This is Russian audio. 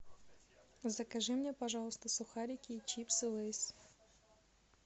закажи мне пожалуйста сухарики и чипсы лейс